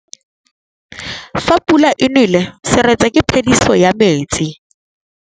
Fa pula e nelê serêtsê ke phêdisô ya metsi.